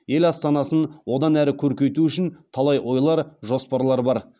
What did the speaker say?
ел астанасын одан әрі көркейту үшін талай ойлар жоспарлар бар